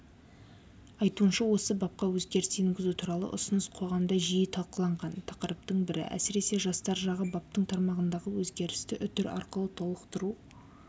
айтуынша осы бапқа өзгеріс енгізу туралы ұсыныс қоғамда жиі талқыланған тақырыптың бірі әсіресе жастар жағы баптың тармағындағы өзгерісті үтір арқылы толықтыру